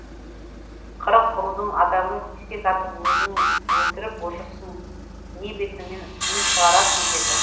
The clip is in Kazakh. қырық рудың адамы кесек атып өзің өлтіріп отырсың не бетіңмен үн шығарасың деді